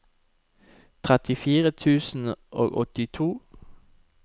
trettifire tusen og åttito